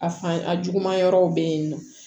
A fan a jugu ma yɔrɔw bɛ yen nɔ